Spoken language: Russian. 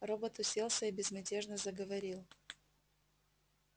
робот уселся и безмятежно заговорил